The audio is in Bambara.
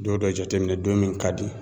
Don dɔ jateminɛ don min ka di.